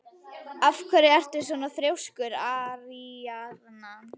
Af hverju ertu svona þrjóskur, Aríaðna?